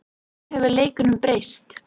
Nú hefur leikurinn breyst